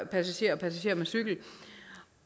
passagerer og passagerer med cykel